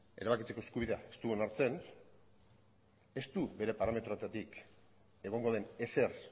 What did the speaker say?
erabakitzeko eskubidea ez du onartzen ez du bere parametroetatik egongo den ezer